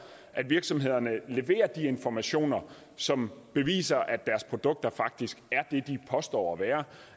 at virksomhederne leverer de informationer som beviser at deres produkter faktisk er det de påstår at være